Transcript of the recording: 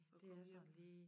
At komme hjem